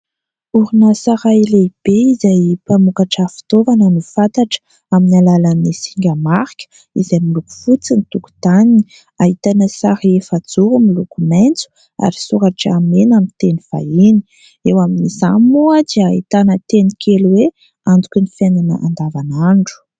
Orinasa iray lehibe izay mpamokatra fitaovana no fantatra amin'ny alalan'ny singa marika izay miloko fotsy ny tokotaniny. Ahitana sary efajoro miloko maitso ary soratra mena amin'ny teny vahiny. Eo amin'izany moa dia ahitana teny kely hoe : "Antoky ny fiainana andavanandro".